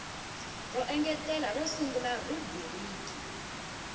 ro engetela ro sungula rhubiriki